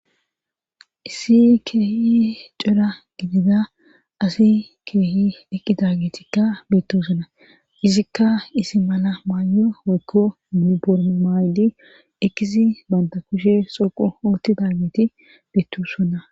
issi keehi cora gidiza asi keehi eqqidagetikka beettosonna izikka isi mala maayo woykko minbor maaydi ekisi banta kushe xoqo oottida geti beettusona